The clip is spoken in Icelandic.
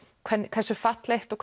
hversu fallegt og